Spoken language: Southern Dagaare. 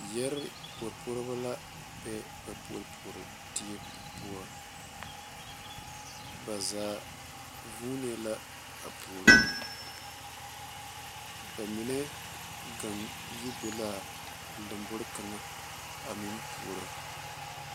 Yɛre puoripuoribo la be ba puopuoridie poɔ ba zaa vuunee la a puoro ba mine gaŋ yibe l,a a lambori kaŋa a mteŋ puoro.